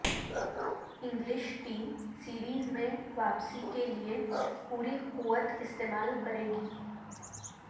English team series میں واپسی کیلئے پوری قوت استعمال کرے گی